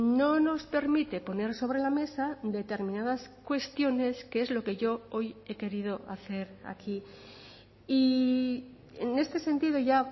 no nos permite poner sobre la mesa determinadas cuestiones que es lo que yo hoy he querido hacer aquí y en este sentido ya